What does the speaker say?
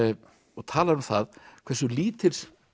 og talar um það hversu lítils